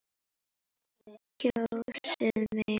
Kjósið mig!